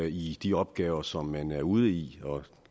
i de opgaver som man er ude i og